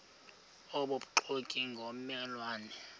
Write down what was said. obubuxoki ngomme lwane